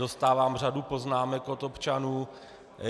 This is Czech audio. Dostávám řadu poznámek od občanů.